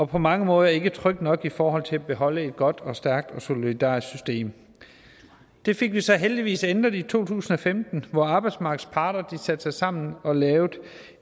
på mange måder ikke trygt nok i forhold til at beholde et godt og stærkt og solidarisk system det fik vi så heldigvis ændret i to tusind og femten hvor arbejdsmarkedets parter satte sig sammen og lavede